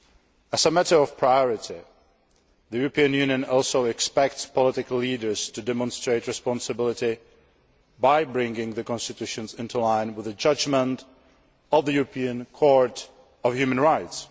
As a matter of priority, the European Union also expects political leaders to demonstrate responsibility by bringing the constitutions into line with the judgment of the European Court of Human Rights.